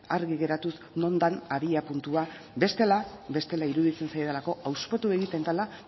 argi geratuz non den abiapuntua bestela iruditzen zait hauspotu egiten dela